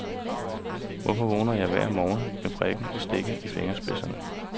Hvorfor vågner jeg hver morgen med prikken og stikken i fingerspidserne.